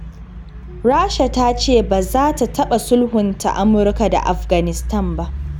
Rasha ta ce ba za ta taɓa sulhunta Amurka da Afghanistan ba.